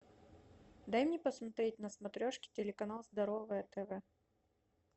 дай мне посмотреть на смотрешке телеканал здоровое тв